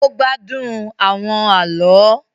O gbádùn awọn àlọ